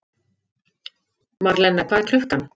Marlena, hvað er klukkan?